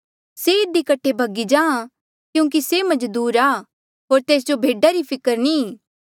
से इधी कठे भगी जाहाँ क्यूंकि से मजदूर आ होर तेस जो भेडा री फिकर नी ई